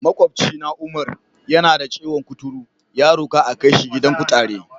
Maƙwabcina Umar, yana da ciwon kuturu, ya roka a kai shi gidan kutare.